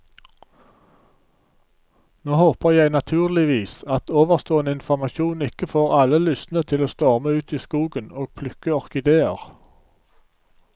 Nå håper jeg naturligvis at ovenstående informasjon ikke får alle lystne til å storme ut i skogen og plukke orkideer.